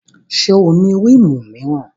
Ṣé o ní rímù míràn?